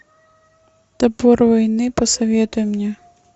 топор войны посоветуй мне